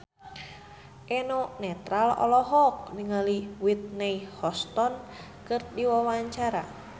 Eno Netral olohok ningali Whitney Houston keur diwawancara